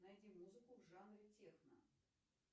найди музыку в жанре техно